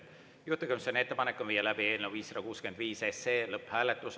Juhtivkomisjoni ettepanek on viia läbi eelnõu 565 lõpphääletus.